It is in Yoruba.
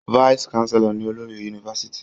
Vice chancellor ni olórí yunifásitì.